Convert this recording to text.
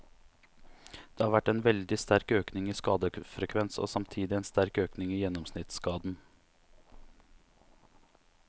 Det har vært en veldig sterk økning i skadefrekvens og samtidig en sterk økning i gjennomsnittsskaden.